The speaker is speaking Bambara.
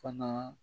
Fana